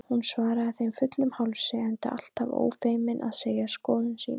Hún svaraði þeim fullum hálsi, enda alltaf ófeimin við að segja skoðun sína.